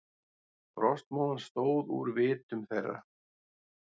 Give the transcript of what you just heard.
Frostmóðan stóð úr vitum þeirra.